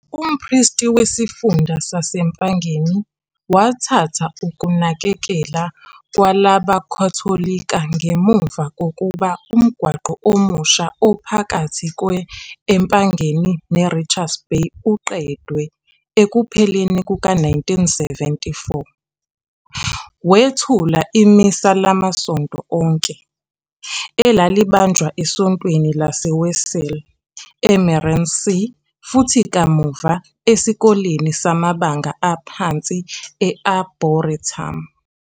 UMpristi wesifunda sase-Mpangeni wathatha ukunakekela kwalabaKhatholika ngemuva kokuba umgwaqo omusha ophakathi kwe-Empangeni neRichards Bay uqedwe ekupheleni kuka-1974. Wethula iMisa lamasonto onke, elalibanjwa eSontweni laseWeseli e-Meerensee futhi kamuva eSikoleni samabanga aphansi e-Arboretum.